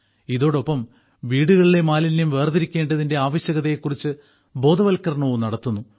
ഇതോടൊപ്പം വീടുകളിലെ മാലിന്യം വേർതിരിക്കേണ്ടതിന്റെ ആവശ്യകതയെക്കുറിച്ച് ബോധവത്കരണവും നടത്തുന്നു